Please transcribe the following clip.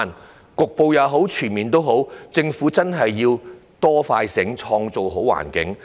無論是局部或全面通關也好，政府真的要"多、快、醒，創造好環境"。